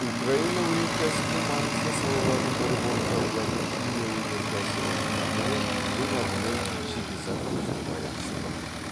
украина өнеркәсібінің маңызды саласының бірі болып табылатын химия өнеркәсібінің дамуы ең алдымен шикізат көзіне байланысты болады